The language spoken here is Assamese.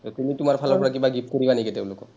তুমি তোমাৰ ফালৰ পৰা কিবা gift কৰিবা নেকি তেওঁলোকক?